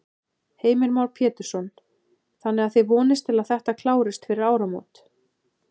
Heimir Már Pétursson: Þannig að þið vonist til að þetta klárist fyrir áramót?